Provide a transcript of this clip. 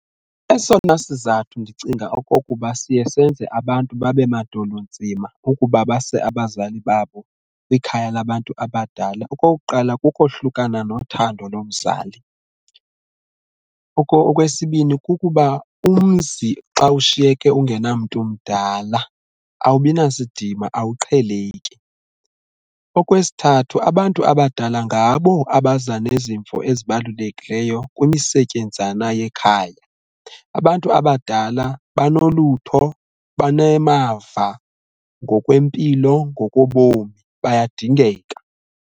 Esona sizathu ndicinga okokuba siye senze abantu babe madolo nzima ukuba base abazali babo kwikhaya labantu abadala okokuqala kukohlukana nothando lomzali. Okwesibini kukuba umzi xa ushiyeke ungenamntu mdala awubi nasidima awuqheleki. Okwesithathu abantu abadala ngabo abaza nezimvo ezibalulekileyo kwimisetyenzana yekhaya, abantu abadala banolutho, banemava ngokwempilo ngoko bomi bayadingeka.